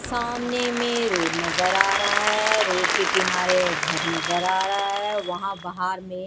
सामने में रोड नजर आ रहा है रोड के किनारे घर नजर आ रहा है वहां बाहर में--